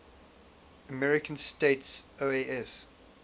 american states oas